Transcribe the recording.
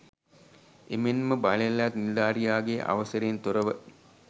එමෙන්ම බලයලත් නිලධාරියාගේ අවසරයෙන් තොරව